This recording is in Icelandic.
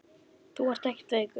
Þú ert ekkert veikur.